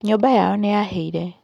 Nyũmba yao nĩ yahĩire.